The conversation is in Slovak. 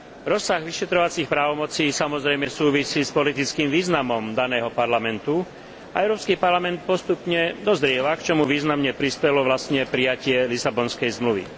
Rozsah vyšetrovacích právomocí samozrejme súvisí s politickým významom daného parlamentu a Európsky parlament postupne dozrieva, k čomu významne prispelo prijatie Lisabonskej zmluvy.